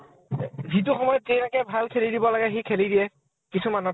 যি~ যিটো সময় ত ভাল খেলি দিব লাগে সি খেলি দিয়ে, কিছুমানত ।